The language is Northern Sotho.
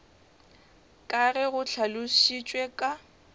ka ge go hlalošitšwe ka